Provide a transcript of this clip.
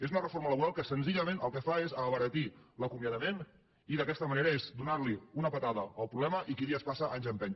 és una reforma laboral que senzillament el que fa és abaratir l’acomiadament i d’aquesta manera és donar una puntada al problema i qui dies passa anys empeny